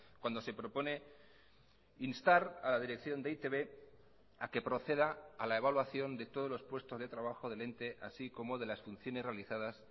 cuando se propone instar a la dirección de e i te be a que proceda a la evaluación de todos los puestos de trabajo del ente así como de las funciones realizadas